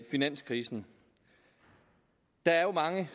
finanskrisen der er jo mange